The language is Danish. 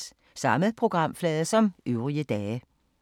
Samme programflade som øvrige dage